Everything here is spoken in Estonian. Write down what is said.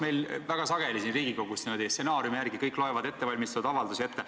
Meil väga sageli siin Riigikogus niimoodi stsenaariumi järgi kõik loevad ettevalmistatud avaldusi ette.